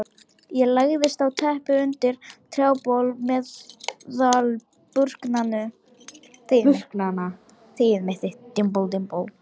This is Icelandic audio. Ég lagðist á teppið undir trjábol meðal burknanna.